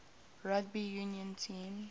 rugby union team